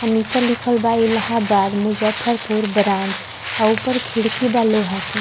आ नीचा लिखल बा इलाहबाद मुजफ्फरपुर ब्रांच आ ऊपर खिड़की बा लोहा के।